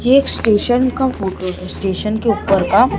ये एक स्टेशन का फोटो है स्टेशन के ऊपर का।